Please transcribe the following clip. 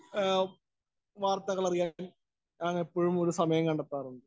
Speaker 1 വാര്‍ത്തകള്‍ അറിയാനും എപ്പോഴും ഒരു സമയം കണ്ടെത്താറുണ്ട്.